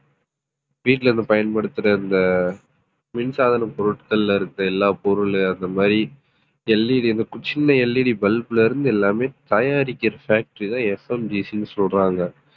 வீட்ல இருந்து பயன்படுத்துற இந்த மின்சாதன பொருட்கள்ல இருக்க எல்லா பொருள் அந்த மாதிரி LED கொஞ்சம் சின்ன LEDbulb ல இருந்து எல்லாமே தயாரிக்கிற factory தான் FMGC ன்னு சொல்றாங்க